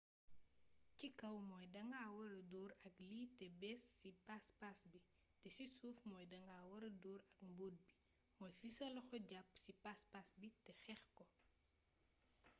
ci kaw mooy danga wara door ak lii té bees ci paspas bi té ci suuf mooy danga wara door ak mbott bi mooy fi sa loxo japp ci paspas bi té xeec ko